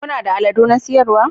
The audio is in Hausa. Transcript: Kuna da aladu na siyarwa?